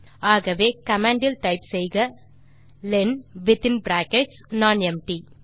ஆகவே கமாண்ட் இல் டைப் செய்யவும் லென் வித்தின் பிராக்கெட்ஸ் நானெம்ப்டி